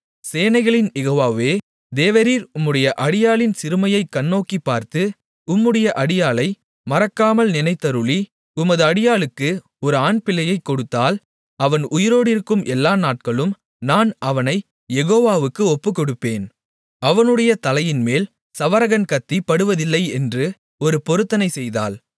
சேனைகளின் யெகோவாவே தேவரீர் உம்முடைய அடியாளின் சிறுமையைக் கண்ணோக்கிப் பார்த்து உம்முடைய அடியாளை மறக்காமல் நினைத்தருளி உமது அடியாளுக்கு ஒரு ஆண்பிள்ளையைக் கொடுத்தால் அவன் உயிரோடிருக்கும் எல்லா நாட்களும் நான் அவனைக் யெகோவாவுக்கு ஒப்புக்கொடுப்பேன் அவனுடைய தலையின்மேல் சவரகன் கத்தி படுவதில்லை என்று ஒரு பொருத்தனை செய்தாள்